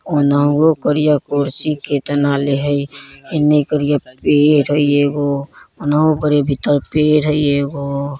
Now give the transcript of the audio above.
औन्हुवो करिया कुर्सी केतना ले हय इन्ने करिया पेड़ हय एगो ओनहो पर ए भीतर पेड़ हय एगो।